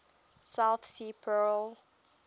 south sea pearl